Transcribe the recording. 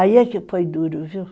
Aí é que foi duro, viu?